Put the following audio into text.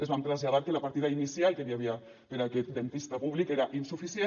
els vam traslladar que la partida inicial que n’hi havia per a aquest dentista públic era insuficient